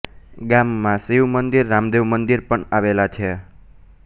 ગામમાં શિવ મંદિર રામદેવ મંદિર પણ આવેલાં છે